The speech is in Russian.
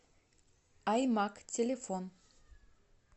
аймаг телефон